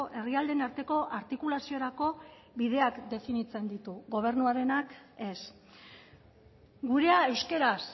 herrialdeen arteko artikulaziorako bideak definitzen ditu gobernuarenak ez gurea euskaraz